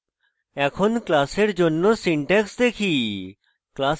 এখন class জন্য syntax দেখি